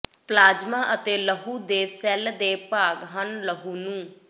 plasma ਅਤੇ ਲਹੂ ਦੇ ਸੈੱਲ ਦੇ ਭਾਗ ਹਨ ਲਹੂ ਨੂੰ